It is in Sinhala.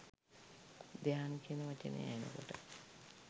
ධ්‍යාන කියන වචනය ඇහෙන කොට